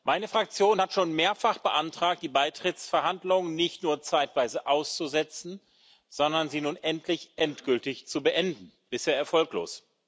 Meine Fraktion hat schon mehrfach beantragt, die Beitrittsverhandlungen nicht nur zeitweise auszusetzen, sondern sie nun endlich endgültig zu beenden bisher erfolglos.